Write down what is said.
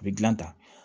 A bɛ gilan ta